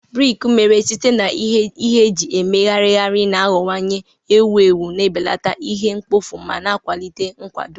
Briki mere site na ihe eji emegharịgharị na-aghọwanye ewu ewu, na-ebelata ihe mkpofu ma na-akwalite nkwado.